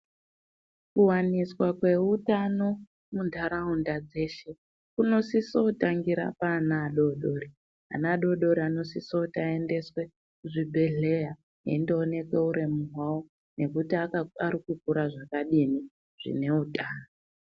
Kuwaniswa kweutano muntaraunda dzeshe kunosiso kutangira paana adodori. Ana adodori anosiso kuti aendeswe kuzvibhehleya eindooneke uremu hwavo nekundooneka kuti akura zvakadini zvine utano.